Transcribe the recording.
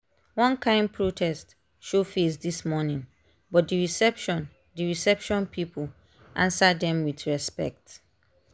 one kain protest show face this morning but the reception the reception people answer dem with respect.